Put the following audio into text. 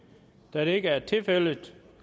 da det ikke er tilfældet